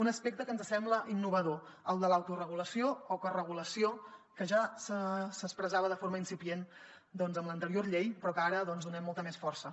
un aspecte que ens sembla innovador el de l’autoregulació o coregulació que ja s’expressava de forma incipient doncs en l’anterior llei però que ara hi donem molta més força